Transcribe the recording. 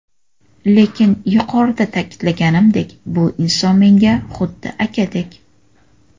Lekin yuqorida ta’kidlaganimdek, bu inson menga xuddi akadek.